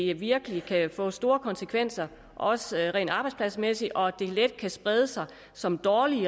det virkelig kan få store konsekvenser også rent arbejdspladsmæssigt og at det let kan brede sig som